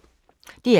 DR2